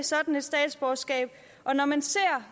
sådan statsborgerskab og når man ser